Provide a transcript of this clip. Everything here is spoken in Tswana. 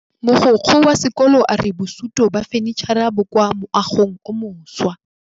Mogokgo wa sekolo a re bosutô ba fanitšhara bo kwa moagong o mošwa.